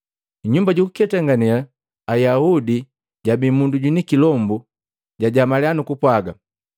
Mnyumba jukuketangane Ayaudi, jabi mundu jwini kilombu, jajamalya nukupwaga,